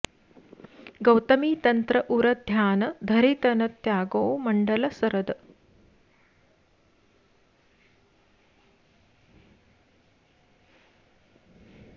गौतमी तंत्र उर ध्यान धरि तन त्याग्यो मंडल सरद